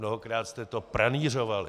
Mnohokrát jste to pranýřovali.